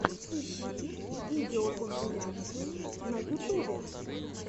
ищи видеокомпиляции на ютубе